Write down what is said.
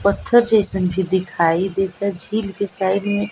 पत्थर जइसन भी दिखाइ देता झील के साइड में --